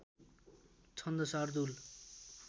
छन्द शार्दूल